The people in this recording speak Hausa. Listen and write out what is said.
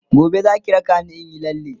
gobe Zaki raka ni inyi lalle?.